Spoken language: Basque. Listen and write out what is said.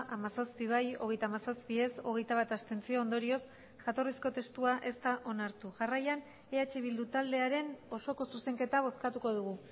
hamazazpi bai hogeita hamazazpi ez hogeita bat abstentzio ondorioz jatorrizko testua ez da onartu jarraian eh bildu taldearen osoko zuzenketa bozkatuko dugu